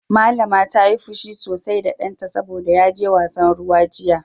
Mallama ta yi fushi sosai da danta saboda ya je wasan ruwa jiya.